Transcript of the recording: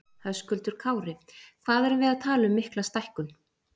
Höskuldur Kári: Hvað erum við að tala um mikla stækkun?